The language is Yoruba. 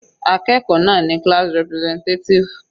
Akẹ́kọ̀ọ́ náà ni class representative.